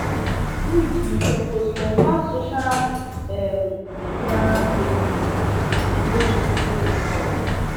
truth you supposed confirm social um media claims with real hospital website